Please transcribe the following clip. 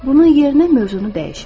Bunun yerinə mövzunu dəyişin.